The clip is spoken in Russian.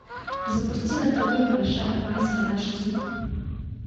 запусти на тв большая азия аш ди